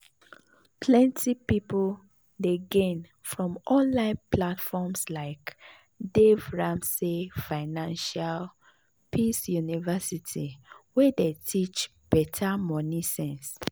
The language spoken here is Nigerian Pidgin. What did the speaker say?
plenty people dey gain from online platforms like dave ramsey financial peace university wey dey teach better money sense.